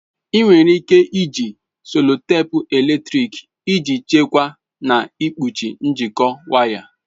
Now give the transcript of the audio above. Ị nwere ike iji sellotape eletrịk iji chekwaa na ikpuchi njikọ waya.